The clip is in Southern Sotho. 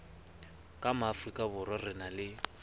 ka maafrikaborwa re na le